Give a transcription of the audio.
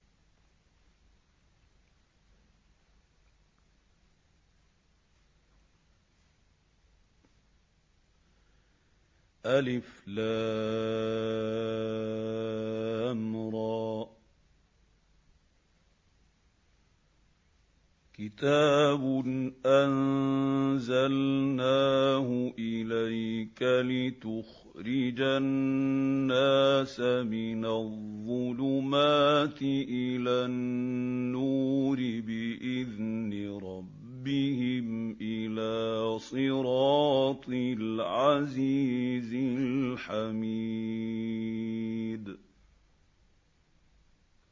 الر ۚ كِتَابٌ أَنزَلْنَاهُ إِلَيْكَ لِتُخْرِجَ النَّاسَ مِنَ الظُّلُمَاتِ إِلَى النُّورِ بِإِذْنِ رَبِّهِمْ إِلَىٰ صِرَاطِ الْعَزِيزِ الْحَمِيدِ